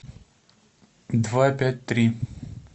два пять три